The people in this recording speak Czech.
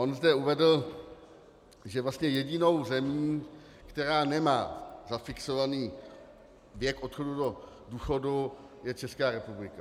On zde uvedl, že vlastně jedinou zemí, která nemá zafixovaný věk odchodu do důchodu, je Česká republika.